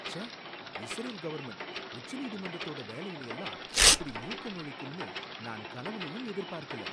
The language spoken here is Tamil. ச்சே! இஸ்ரேல் கவர்ன்மெண்ட் உச்ச நீதிமன்றத்தோட வேலைல எல்லாம் இப்படி மூக்க நுழைக்கும்னு நான் கனவுலயும் எதிர்பார்க்கல.